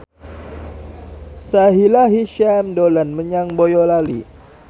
Sahila Hisyam dolan menyang Boyolali